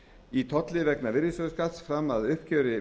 í tolli vegna virðisaukaskatts fram að uppgjöri